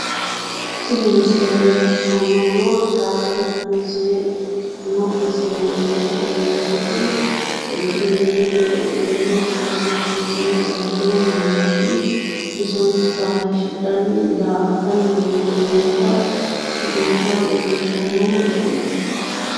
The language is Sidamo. Tini misile leellishshannohuno tiraaveli turiizime ikkitino misile leellishshanno yaate turiizimete woy tiraaveli turiizimete daggino mannooti bisonsa hayiishshidhanni daa"attanni leeltanni noota leellishshanno misileeti.